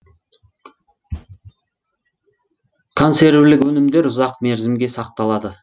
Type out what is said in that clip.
консервілік өнімдер ұзақ мерзімге сақталады